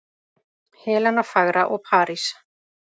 Helena fagra og París.